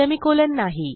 semi colon नाही